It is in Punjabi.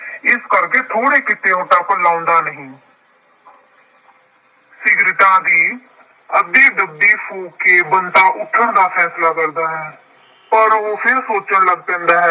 ਇਸ ਕਰਕੇ ਥੋੜ੍ਹੇ ਤੱਕ ਲਾਉਂਦਾ ਨਹੀਂ ਸਿਗਰਟਾਂ ਦੀ ਅੱਧੀ ਡੱਬੀ ਫੂਕ ਕੇ ਬੰਤਾ ਉੱਠਣ ਦਾ ਫੈਸਲਾ ਕਰਦਾ ਹੈ। ਪਰ ਉਹ ਫਿਰ ਸੋਚਣ ਲੱਗ ਪੈਂਦਾ ਹੈ।